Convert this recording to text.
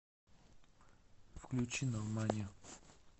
включи нормани